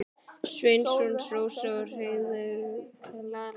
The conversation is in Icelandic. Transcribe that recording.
Sveinsson, Rósa með Heiðveigu og Klara.